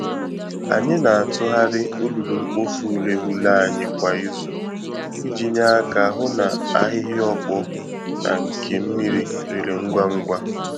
Anyị na-atụgharị olulu-mkpofu-ureghure anyị kwa izu iji nye aka hụ na ahịhịa ọkpọ na nke mmiri rere ngwá ngwá.